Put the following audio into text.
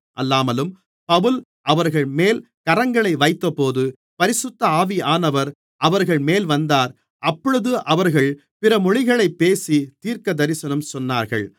அல்லாமலும் பவுல் அவர்கள்மேல் கரங்களை வைத்தபோது பரிசுத்த ஆவியானவர் அவர்கள்மேல் வந்தார் அப்பொழுது அவர்கள் பிறமொழிகளைப் பேசி தீர்க்கதரிசனம் சொன்னார்கள்